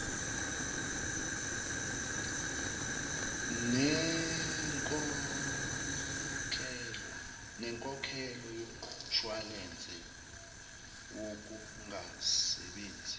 nenkokhelo yomshwalense wokungasebenzi